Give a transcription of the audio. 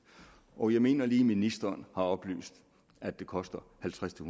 og jeg mener lige at ministeren har oplyst at det koster halvtreds til